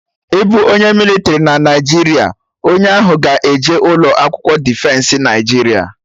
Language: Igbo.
Ịbụ onye mịlịtrị na Naijiria, onye ahụ ga-eje ụlọ akwụkwọ Defensị Naijiria